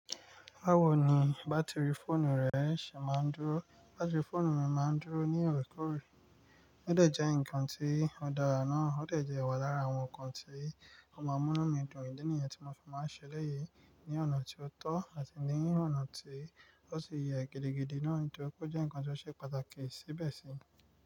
"Báwo ni bátìrì fóònù rẹ ṣe máa ń dúró?" Bátìrì fóònù mi má ń dúró ní ọ̀orẹ́ kóorè. Ó dẹ̀ jẹ́ ǹkan tí ó dára náà, ó dẹ̀ jẹ́ wa lára àwọn ǹkan tí ó máa ń mú inu mí dùn. Idi nìyen tí mo fi máa ń ṣe elẹ́yì, ní ọ̀nà tí ó tọ́ àti ní ọ̀nà tí ó sì yẹ gidigidi náà, nitòripe ó jẹ́ ǹkan tí ó ṣe pàtàkì síbẹ̀ sì.